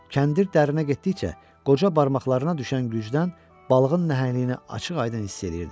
Kəndir dərinə getdikcə qoca barmaqlarına düşən gücdən balığın nəhəngliyini açıq-aydın hiss eləyirdi.